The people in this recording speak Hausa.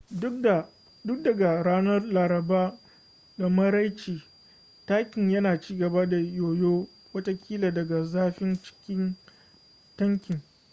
tun daga ranar laraba da maraice tankin yana cigaba da yoyo watakila daga zafin cikin tankin